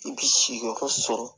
I bi si yɔrɔ sɔrɔ